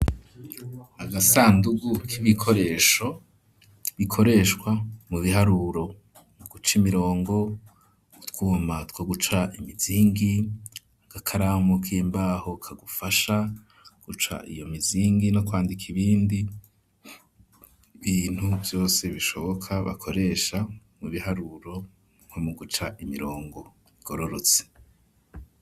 Agasandugu k'ibikoresho bikoreshwa mu biharuro mu guca imirongo utwuma two guca imizingi agakaramu k'imbaho kagufasha guca iyo mizingi no kwandika ibindi bintu vyose bishoboka bakoresha mu biharuro nko mu guca imirongo igororotse.